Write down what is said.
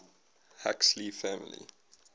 huxley family